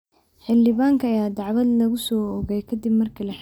Xildhibaanka ayaa dacwad lagu soo oogay kadib markii la xiray.